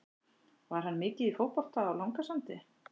Var hann mikið í fótbolta á Langasandi?